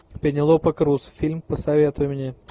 пенелопа крус фильм посоветуй мне